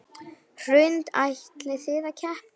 Hrund: Ætlið þið að keppa?